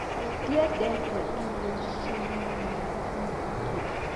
Ndiendete irio cina maguta maingĩ